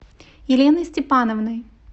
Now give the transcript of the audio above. еленой степановной